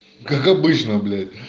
как обычно блять